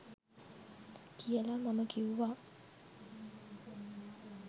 කියලා මම කිව්වා.